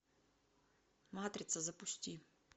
матрица запусти